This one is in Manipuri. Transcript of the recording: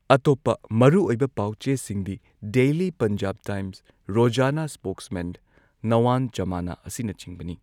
ꯑꯇꯣꯞꯄ ꯃꯔꯨꯑꯣꯏꯕ ꯄꯥꯎ ꯆꯦꯁꯤꯡꯗꯤ ꯗꯦꯂꯤ ꯄꯟꯖꯥꯕ ꯇꯥꯏꯝꯁ, ꯔꯣꯓꯥꯅꯥ ꯁ꯭ꯄꯣꯛꯁꯃꯦꯟ, ꯅꯋꯥꯟ ꯓꯃꯥꯅꯥ, ꯑꯁꯤꯅꯆꯤꯡꯕꯅꯤ꯫